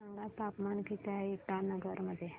सांगा तापमान किती आहे इटानगर मध्ये